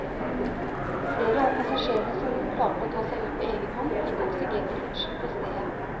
Flere av passasjerene som klarte å ta seg ut på egenhånd, fikk oksygentilførsel på stedet.